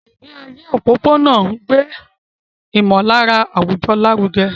Ìgbé ayé òpópónà ń gbé ìmọ̀lára àwùjọ lárugẹ.